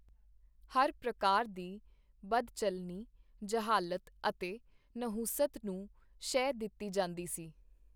ਹਰ ਪ੍ਰਕਾਰ ਦੀ ਬਦਚੱਲਨੀ, ਜਹਾਲਤ ਅਤੇ ਨਹੂਸਤ ਨੂੰ ਸ਼ਹਿ ਦਿੱਤੀ ਜਾਂਦੀ ਸੀ.